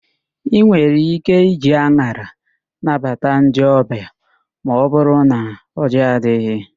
Ị nwere íké iji an̄ara nabata ndị ọbịa ma ọbụrụ na ọjị adịghị.